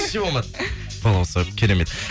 вообще болмады балауса керемет